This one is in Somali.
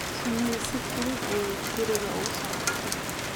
Shinnidu si fudud ayay guriga ugu soo noqotaa.